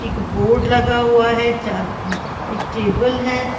एक बोर्ड लगा हुआ है चार एक टेबल है।